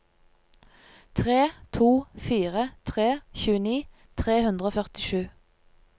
tre to fire tre tjueni tre hundre og førtisju